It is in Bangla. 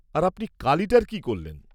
-আর আপনি কালিটার কী করলেন?